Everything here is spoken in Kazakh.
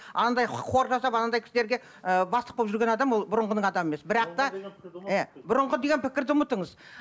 анандай хор жасап анандай кісілерге ыыы бастық болып жүрген адам ол бұрынғының адам емес бірақ та і бұрынғы деген пікірді ұмытыңыз